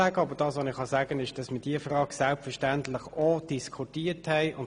Aber ich kann sagen, dass wir diese Frage selbstverständlich auch diskutiert haben.